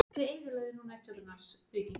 Kæri vinur!